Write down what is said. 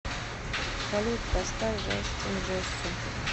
салют поставь джастин джессо